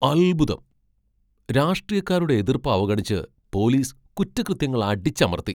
അത്ഭുതം, , രാഷ്ട്രീയക്കാരുടെ എതിർപ്പ് അവഗണിച്ച് പോലീസ് കുറ്റകൃത്യങ്ങൾ അടിച്ചമർത്തി!